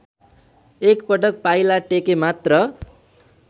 एकपटक पाइला टेकेमात्र